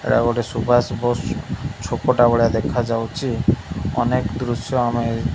ଏଟା ଗୋଟେ ସୁବାଷ ବୋଷ ଛୋପଟା ଭଳିଆ ଦେଖା ଯାଉଚି ଅନେକ ଦୃଶ୍ୟ ଆମେ --